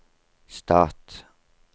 stat